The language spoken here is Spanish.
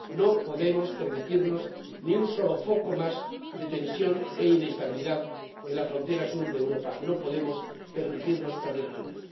No podemos permitirnos ni un solo foco más de tensión e inestabilidad en la frontera sur de Europa, no podemos permitirnos perder Túnez.